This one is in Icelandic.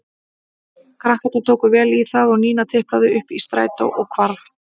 Krakkarnir tóku vel í það og Nína tiplaði upp í strætó og hvarf.